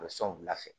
A bɛ sɔn u bila fɛ